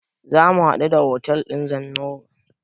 Zamu haɗu da otel ɗin Zennoor.